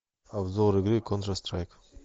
обзор игры контр страйк